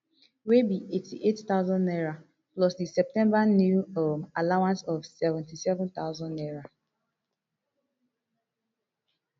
wey be eighty-eight thousand naira plus di septemba new um allowance of seventy-seven thousand naira